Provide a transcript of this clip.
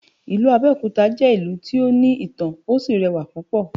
Ìlú Abẹ́òkúta jẹ́ ìlú tó ní ìtàn, ó sì rẹwà púpọ̀.